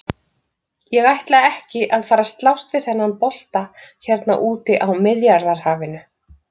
Ég ætla ekki að fara að slást við þennan bolta hérna úti á Miðjarðarhafinu!